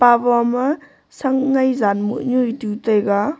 abo ma shak ngai jan moh nyu e tu taiga.